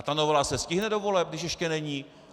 A ta novela se stihne do voleb, když ještě není?